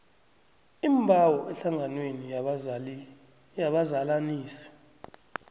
iimbawo ehlanganweni yabazalanisi